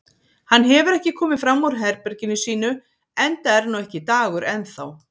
Hann hefur ekki komið fram úr herberginu sínu enda er nú ekki dagur enn þá.